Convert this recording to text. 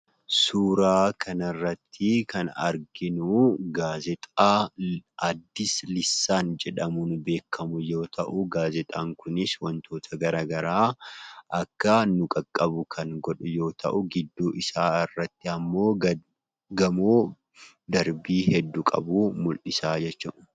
Suuraa kana irratti kan arginuu Gaazexaa ''Addis Lissaan'' jedhamuun beekamu yoo ta'u Gaazexaan kunis wantoota gara garaa akka nu qaqqabu kan godhu yoo ta'u gidduu isaa irratti immoo gamoo darbii hedduu qabu mul'isa jechuudha.